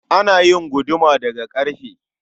Ana yin guduma da ga karfe